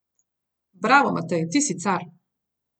Bravo, Matej, ti si car.